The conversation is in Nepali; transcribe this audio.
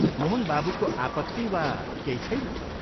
मोहन बाबूको आपत्ति वा केही छैन?